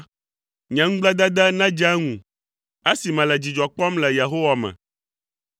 Nye ŋugbledede nedze eŋu, esi mele dzidzɔ kpɔm le Yehowa me.